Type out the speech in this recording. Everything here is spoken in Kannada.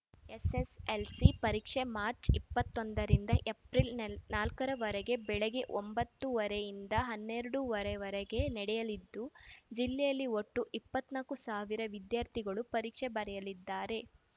ಎಸ್‌ಎಸ್‌ಎಲ್‌ಸಿ ಪರೀಕ್ಷೆ ಮಾರ್ಚ್ ಇಪ್ಪತ್ತೊಂದ ರಿಂದ ಏಪ್ರಿಲ್‌ ನಾಲ್ಕು ರವರೆಗೆ ಬೆಳಗ್ಗೆ ಒಂಬತ್ತು ವರೆ ಇಂದ ಹನ್ನೆರಡು ವರೆಗೆ ನಡೆಯಲಿದ್ದು ಜಿಲ್ಲೆಯಲ್ಲಿ ಒಟ್ಟು ಇಪ್ಪತ್ತ್ ನಾಕು ಸಾವಿರ ವಿದ್ಯಾರ್ಥಿಗಳು ಪರೀಕ್ಷೆ ಬರೆಯಲಿದ್ದಾರೆ